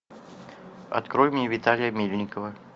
открой мне виталия мельникова